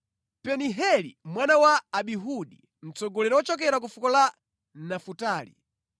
Pedaheli mwana wa Amihudi, mtsogoleri wochokera ku fuko la Nafutali.”